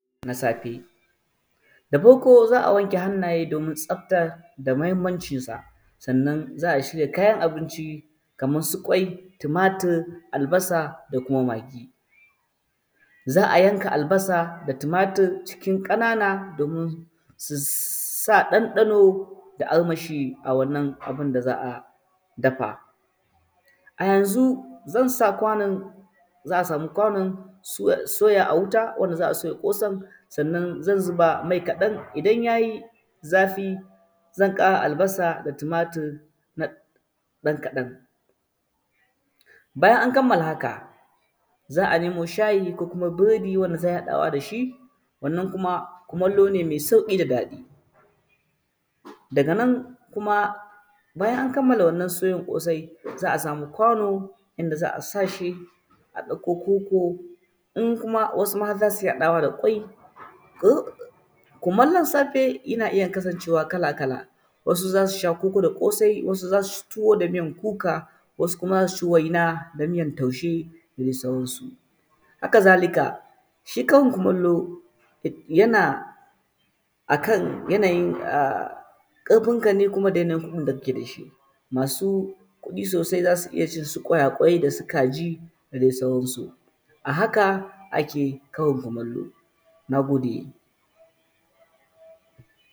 Na safe da farko za a wanke hannaye domin tsaftacewa da mahinmancin sa, sanann za a shirya kayan abinci kamar su kwai, tumatur, albasa da kuma magi, za a yanka albasa da tumatur cikin ƙanan domin su sa ɗan-ɗano da armashi a wannan abun da za a dafa. A yanzu zan sa sa kwanon zan sa soya a wuta wanda za a soya ƙosan sannan zan zuba mai ƙaɗan, idan ya yi zafi zan ƙara albasa da tumatur ɗan kaɗan; bayan an kamala haka za a nemo shayi ko biredi wanda za a iya haɗawa da shi. Wannan kuma kumallo ne me tsaƙi daga daga nan kuma bayan an kammala wannan ƙosai, se a samu kwano inda za a sa shi a ɗauko koko in kuma wasu kuma zai iya haɗawa da kwai, kumallo safe yana iya kasancewa kala-kala wasu za su sha koko da ƙosai, wasu za su sha tuwo miyan kuka, wasu kuma za su ci waina da miyan taushe da dai sauransu. Haka zalika shi karin kumallo yana akan yanayin ƙarfin kane kuma da yanayin da ka ɗauke shi masu kuɗi sosai za su iya cin kwai da shi, kaji da dai sauransu a haka ake karin kumallo. Na gode.